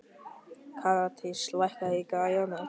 Karítas, lækkaðu í græjunum.